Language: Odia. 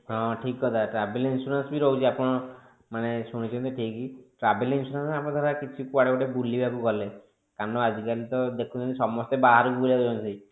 ହଁ ଠିକ କଥା travel insurance ବି ରହୁଛି ଆପଣ ମାନେ ଶୁଣିଛନ୍ତି ଠିକ travel insurance ଆମେ ଧର କିଛି କୁଆଡେ ବୁଲି ବାକୁ ଗଲେ କାରଣ ଆଜି କାଲି ତ ଦେଖୁଛନ୍ତି ସମସ୍ତେ ବାହାରକୁ ବୁଲିବାକୁ ଯାଉଛନ୍ତି